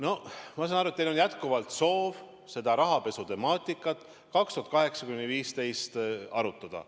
Aga ma saan aru, et teil on jätkuvalt soov seda rahapesu 2008–2015 arutada.